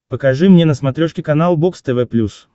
покажи мне на смотрешке канал бокс тв плюс